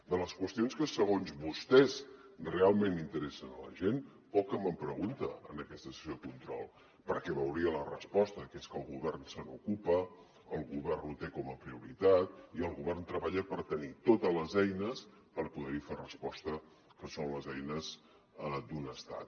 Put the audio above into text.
de les qüestions que segons vostès realment interessen a la gent poc que me’n pregunta en aquesta sessió de control perquè veuria la resposta que és que el govern se n’ocupa el govern ho té com a prioritat i el govern treballa per tenir totes les eines per poder hi fer resposta que són les eines d’un estat